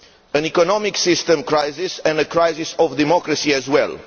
an economic system crisis and a crisis of democracy as well.